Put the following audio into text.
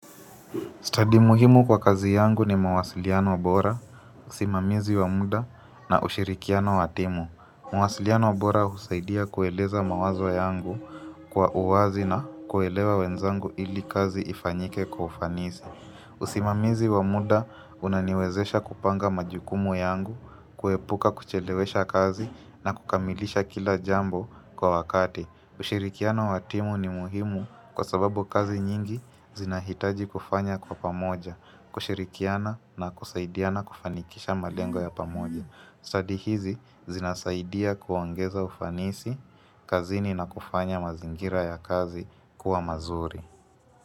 Study muhimu kwa kazi yangu ni mawasiliano bora, usimamizi wa muda na ushirikiano wa timu. Mawasiliano bora husaidia kueleza mawazo yangu kwa uwazi na kuelewa wenzangu ili kazi ifanyike kwa ufanisi. Usimamizi wamuda unaniwezesha kupanga majukumu yangu, kuepuka kuchelewesha kazi na kukamilisha kila jambo kwa wakati. Ushirikiano wa timu ni muhimu kwa sababu kazi nyingi zinahitaji kufanya kwa pamoja, kushirikiana na kusaidiana kufanikisha malengo ya pamoja. Study hizi zinasaidia kuongeza ufanisi, kazini na kufanya mazingira ya kazi kuwa mazuri.